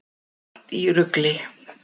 Allt í rugli!